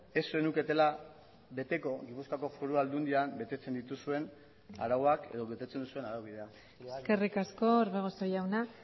ez zenuketela beteko gipuzkoako foru aldundian betetzen dituzuen arauak edo betetzen duzuen araubidea eskerrik asko orbegozo jauna